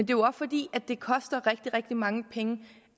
jo fordi det koster rigtig rigtig mange penge